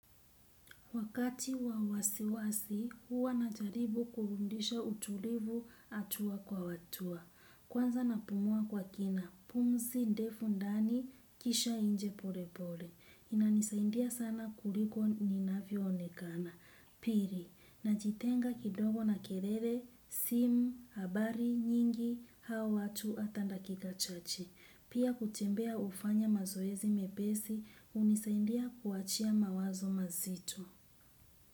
Wakati wa wasiwasi, huwa na jaribu kurundisha utulivu hatua kwa hatua. Kwanza na pumua kwa kina, pumzi, ndefu ndani, kisha nje pole pole. Inanisaidia sana kuliko ninavyo onekana. Pili, najitenga kidogo na kilele, simu, habari nyingi, au watu hata dakika chache. Pia kutembea hufanya mazoezi mepesi, hunisaindia kuachia mawazo mazito.